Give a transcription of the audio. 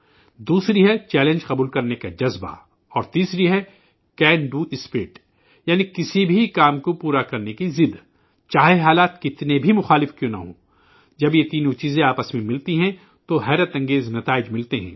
دوسری ہےخطرہ مول لینے کا جذبہ اور تیسری ہے کسی بھی کام کو پورا کرنے کی ضد، خواہ کتنے بھی برعکس حالات کیوں نہ ہوں، جب یہ تینوں چیزیں آپس میں ملتی ہیں تو غیرمعمولی نتائج سامنے آتے ہیں